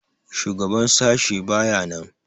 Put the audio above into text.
Shugaban sashi baya nan.